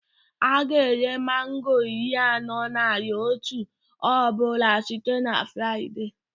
A ga-ere mango iri anọ naịra otu ọ bụla site na Fraịde